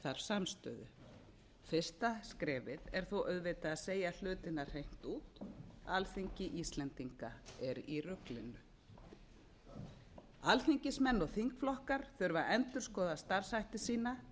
samstöðu fyrsta skrefið er þó auðvitað að segja hlutina hreint út alþingi íslendinga er í ruglinu alþingismenn og þingflokkar þurfa að endurskoða starfshætti sína